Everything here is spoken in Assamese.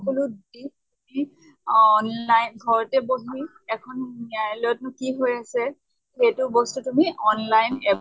সকলো দিশ দিশ অহ নাই ঘৰতে বহি এখন ন্য়ায়ালয়ত নো কি হৈ আছে সেইটো বস্তু তুমি online